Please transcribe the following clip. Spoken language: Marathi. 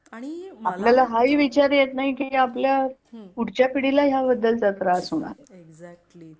आपल्याला आणि हा ही विचार येत नाही की आपल्या पुढच्या पिढीला याबद्दलचा त्रास होणार आहे. एक्साक्टली